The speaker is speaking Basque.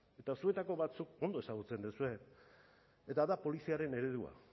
eta zuetako batzuk ondo ezagutzen duzue eta da poliziaren eredua